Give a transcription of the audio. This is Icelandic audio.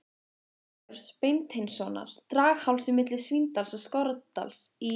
Sveinbjörns Beinteinssonar, Draghálsi milli Svínadals og Skorradals í